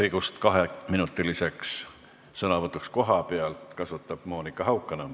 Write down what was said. Õigust kaheminutiliseks sõnavõtuks kohapealt kasutab Monika Haukanõmm.